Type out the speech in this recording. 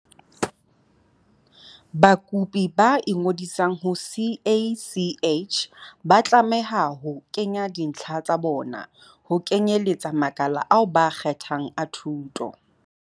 Bakopi ba ingodisang ho CACH ba tlameha ho kenya dintlha tsa bona, ho kenyeletsa makala ao ba a kgethang a thuto.